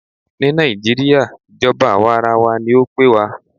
Ní nàìjíría, ìjọba àwàrawa ní o pé wa.